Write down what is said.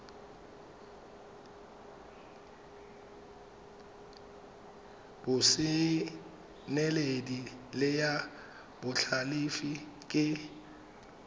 botseneledi le ya botlhalefi ke